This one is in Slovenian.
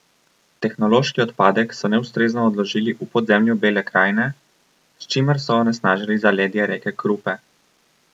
Tehnološki odpadek so neustrezno odložili v podzemlju Bele Krajine, s čimer so onesnažili zaledje reke Krupe.